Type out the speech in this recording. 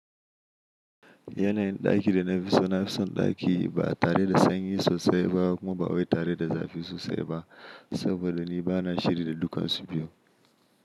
Yanayin ɗakin da na fi so na fi son ɗaki ba tare da sanyi sosai ba kuma ba wai tare da zafi sosai ba. Saboda ni ba na shiri da dukansu biyu.